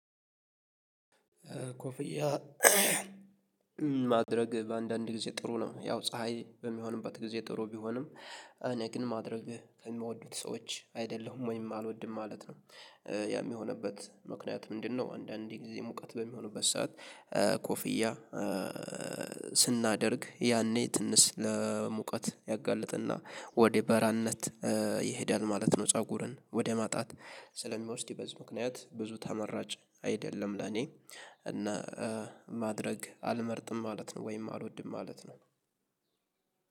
ኮፍያ ማድረግ በአንዳንድ ጊዜ ጥሩ ነው። ያው ፀሀይ በሚሆንበት ጊዜ ጥሩ ቢሆንም እኔ ግን ማድረግ ከምወዱት ሰዎች አይደለሁም ወይም አልወድም ማለት ነው። ያም የሆነበት ምክንያት ምንድነው? አንዳንዴ ጊዜ ሙቀት በሚሆንበት ሰዓት ኮፍያ ስናደርግ ያኔ ትንሽ ለሙቀት ያጋልጥና ወደ በራነት ይሄዳል ማለት ነው። ፀጉርን ወደ ማጣት ስለሚወስድ ይበዝ ምክንያት ብዙ ተመራጭ አይደለም። ለኔ እና ማድረግ አልመርጥም ማለት ነው ወይም አልወድም ማለት ነው።